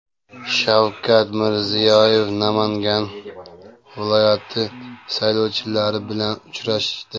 Shavkat Mirziyoyev Namangan viloyati saylovchilari bilan uchrashdi.